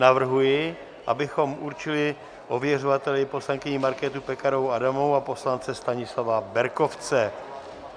Navrhuji, abychom určili ověřovateli poslankyni Markétu Pekarovou Adamovou a poslance Stanislava Berkovce.